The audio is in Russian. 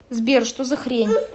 сбер что за хрень